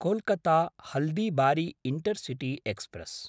Kolkata Haldibari intercity express